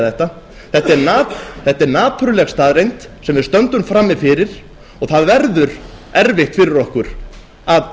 þetta þetta er napurleg staðreynd sem við stöndum frammi fyrir og það verður erfitt fyrir okkur að